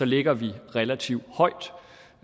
ligger vi relativt højt